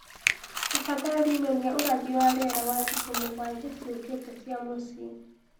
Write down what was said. tafadhalĩ nyonĩa ũrathi wa rĩera wa thĩkũ mũgwanja ciukite cĩa mũcĩĩ